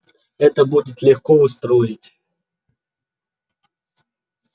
это будет легко устроить